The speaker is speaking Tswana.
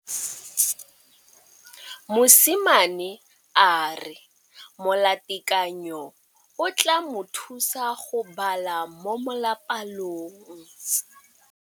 Mosimane a re molatekanyô o tla mo thusa go bala mo molapalong.